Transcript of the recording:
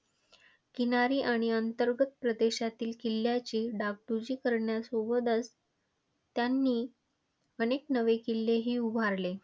किनारी आणि अंतर्गत प्रदेशातील किल्ल्यांची डागडुजी करण्यासोबतच त्यांनी अनेक नवे किल्लेही उभारले.